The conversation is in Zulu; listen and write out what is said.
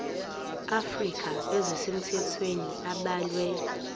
afrika ezisemthethweni abalwe